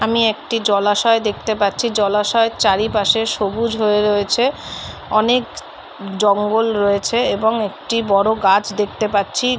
আমি একটি জলাশয় দেখতে পাচ্ছি জলাশয় চারিপাশে সবুজ হয়ে রয়েছে অনেক জঙ্গল রয়েছে এবং একটি বড় গাছ দেখতে পাচ্ছি।